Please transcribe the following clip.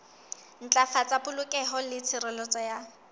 ntlafatsa polokeho le tshireletso ya